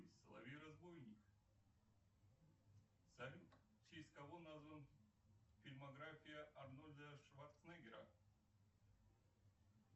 соловей разбойник салют в честь кого назван фильмография арнольда шварценеггера